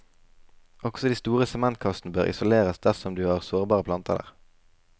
Også de store sementkassen bør isoleres dersom du har sårbare planter der.